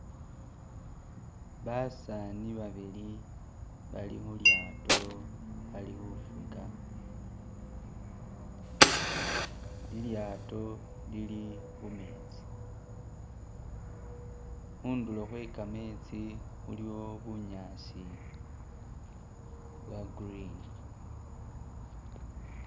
Basaani babili bali khulyato bali khufuga, lilyato lili khumetsi, khundulo khwe kametsi khulikho bunyaasi bwa green